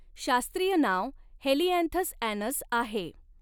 शास्त्रीय नाव helianthus annuus आहे.